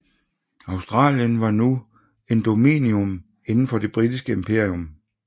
Australien var nu en dominion inden for Det Britiske Imperium